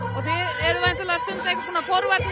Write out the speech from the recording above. eruð væntanlega með forvarnir